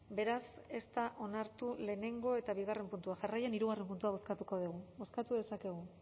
beraz ez da onartu batgarrena eta bi puntua jarraian hirugarrena puntua bozkatuko dugu bozkatu dezakezue